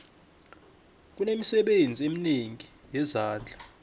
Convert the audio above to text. kunemisebenzi eminengi yezandla